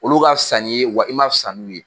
Olu ka fisa n'i ye wa i m'a fisa n'u ye